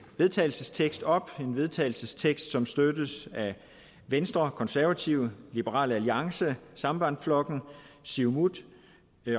vedtagelsestekst op en vedtagelsestekst som støttes af venstre konservative liberal alliance sambandflokken siumut